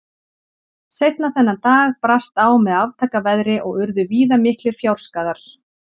Seinna þennan dag brast á með aftaka veðri og urðu víða miklir fjárskaðar.